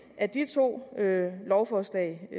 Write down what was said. at de to lovforslag i